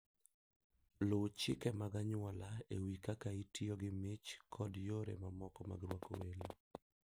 Luw chike mag anyuola e wi kaka itiyo gi mich kod yore mamoko mag rwako welo.